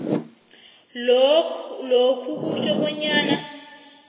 lokhu kutjho bonyana